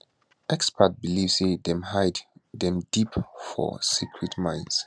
experts believe say dem hide dem deep for for secret mines